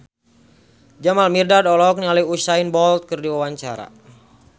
Jamal Mirdad olohok ningali Usain Bolt keur diwawancara